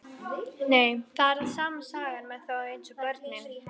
Nei, það er sama sagan með þá eins og börnin.